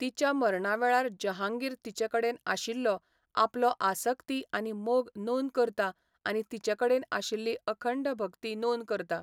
तिच्या मरणा वेळार जहांगीर तिचे कडेन आशिल्लो आपलो आसक्ति आनी मोग नोंद करता आनी तिचे कडेन आशिल्ली अखंड भक्ती नोंद करता.